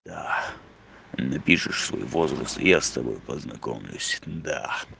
да напишешь свой возраст и я с тобой познакомлюсь да